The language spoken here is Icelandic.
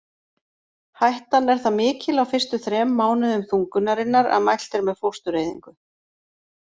Hættan er það mikil á fyrstu þrem mánuðum þungunarinnar að mælt er með fóstureyðingu.